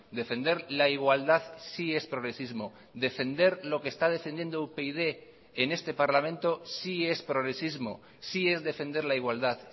defender la igualdad sí es progresismo defender lo que está defendiendo upyd en este parlamento sí es progresismo sí es defender la igualdad